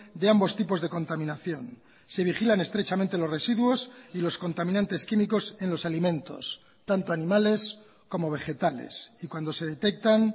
de ambos tipos de contaminación se vigilan estrechamente los residuos y los contaminantes químicos en los alimentos tanto animales como vegetales y cuando se detectan